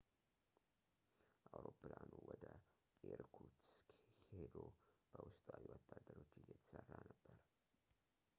አውሮፕላኑ ወደ ኢርኩትስክ ሂዶ በውስጣዊ ወታደሮች እየተሰራ ነበር